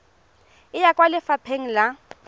e ya kwa lefapha la